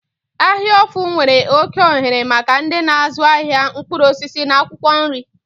Ahia ofu nwere oke ohere maka ndị na-azụ ahịa mkpụrụ osisi na akwụkwọ nri.